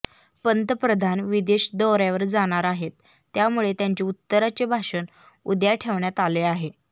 पंतप्रधान विदेश दौऱ्यावर जाणार आहेत त्यामुळे त्यांचे उत्तराचे भाषण उद्या ठेवण्यात आले आहे